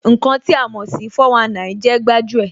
Ǹkan tí a mò sí 419 jẹ́ gbájú ẹ̀